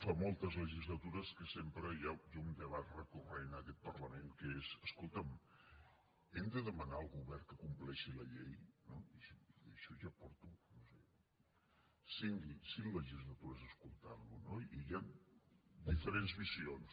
fa moltes legislatures que sempre hi ha un debat recurrent en aquest parlament que és escolta’m hem de demanar al govern que compleixi la llei i això ja porto no ho sé cinc legislatures escoltant ho no i hi han diferents visions